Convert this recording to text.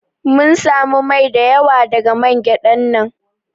Mun samu mai da yawa daga gyadan nan.